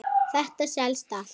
Ný stjórn komst til valda.